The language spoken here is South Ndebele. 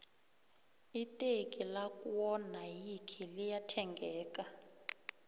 iteki lakwo nayikhi liya thengeka